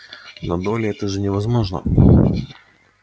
но долли это же невозможно